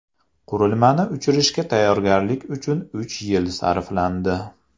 Qurilmani uchirishga tayyorgarlik uchun uch yil sarflandi.